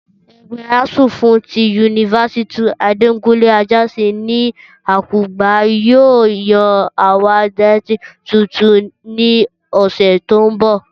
Ẹgbẹ́ asuu fún ti yunifásítì Adekunle Ajáṣin ní Àkùngbá yóò yan àwọn adarí tuntun ní ọ̀sẹ̀ tó ń bọ̀